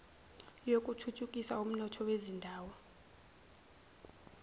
yokuthuthukisa umnotho wezindawo